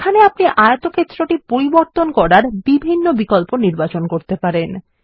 এখানে আপনি আয়তক্ষেত্রটি পরিবর্তন করার বিভিন্ন বিকল্প নির্বাচন করতে পারেন